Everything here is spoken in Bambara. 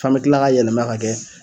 F'an be kila ka yɛlɛma k'a kɛ